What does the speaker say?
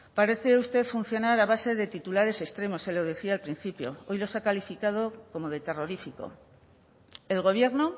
parece usted funcionar a base de titulares extremos se lo decía al principio hoy los ha calificado como de terrorífico el gobierno